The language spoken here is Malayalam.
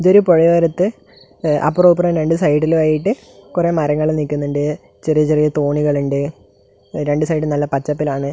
ഇതൊരു പുഴയോരത്ത് അപ്പുറവും ഇപ്പുറവും രണ്ട് സൈഡിലും ആയിട്ട് കുറെ മരങ്ങൾ നിൽക്കുന്നുണ്ട് ചെറിയ ചെറിയ തോണികൾ ഉണ്ട് രണ്ട് സൈഡും നല്ല പച്ചപ്പിലാണ്.